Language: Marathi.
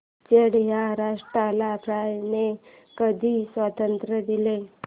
चाड या राष्ट्राला फ्रांसने कधी स्वातंत्र्य दिले